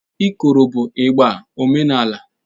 Ikoro bụ ịgbà omenala.